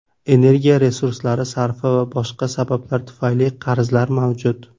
Energiya resurslari sarfi va boshqa sabablar tufayli qarzlar mavjud.